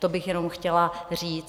To bych jenom chtěla říct.